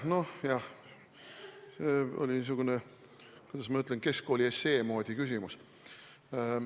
Noh, see oli niisugune, kuidas ma ütlen, keskkooli essee moodi küsimus.